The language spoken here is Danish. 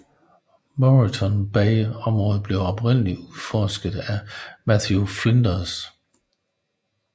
Moreton Bay området blev oprindeligt udforsket af Matthew Flinders